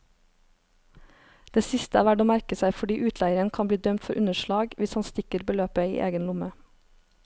Det siste er verd å merke seg fordi utleieren kan bli dømt for underslag hvis han stikker beløpet i egen lomme.